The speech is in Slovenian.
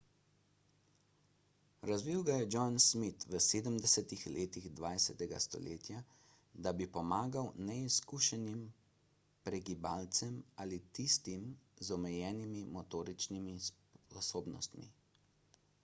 razvil ga je john smith v 70 letih 20 stoletja da bi pomagal neizkušenim pregibalcem ali tistim z omejenimi motoričnimi sposobnostmi